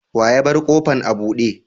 Wa ya bar kofan abude?